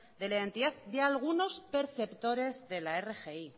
de la identidad de algunos perceptores de la rgi